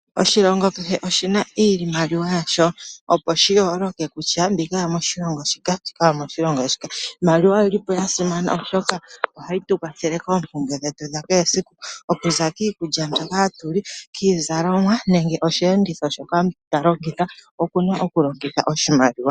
Oshilongo kehe oshi na iimaliwa yasho, opo shi yooloke kutya, mbika oyomoshilongo shika, mbika oyomoshilongo shika. Iimaliwa oyi li po ya simana, oshoka ohayi yu kwathele koompumbwe dhetu dhakehe esiku, okuza kiikulya mbyoka hatu li, kiizalomwa nenge osheenditho shoka ta longitha, oku na okulongitha oshimaliwa.